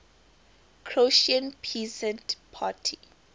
croatian peasant party